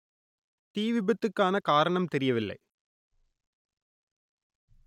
தீ விபத்துக்கான காரணம் தெரியவில்லை